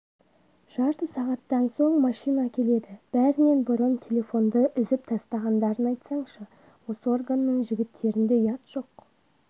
жарты сағаттан соң машина келеді бәрінен бұрын телефонды үзіп тастағандарын айтсаңшы осы органның жігіттерінде ұят жоқ